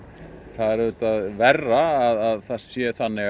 það er auðvitað verra að það sé þannig